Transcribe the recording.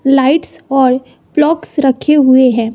Lights और प्लोक्स रखें हुए हैं।